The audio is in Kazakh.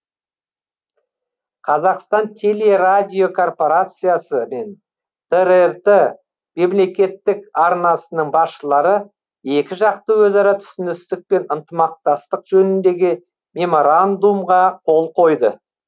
қазақстан телерадиокорпорациясы мен трт мемлекеттік арнасының басшылары екіжақты өзара түсіністік пен ынтымақтастық жөніндегі меморандумға қол қойды